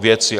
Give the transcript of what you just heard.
K věci!